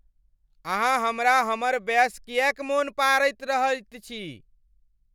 अहाँ हमरा हमर बयस किएक मोन पाड़ैत रहैत छी?